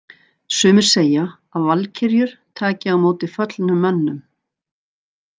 Sumir segja að valkyrjur taki á móti föllnum mönnum.